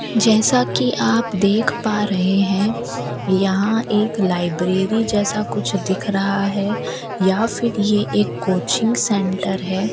जैसा कि आप देख पा रहे हैं यहां एक लाइब्रेरी जैसा कुछ दिख रहा है या फिर ये एक कोचिंग सेंटर है।